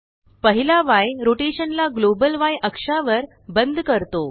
पहिला Yरोटेशन ला ग्लोबल य अक्षावर बंद करतो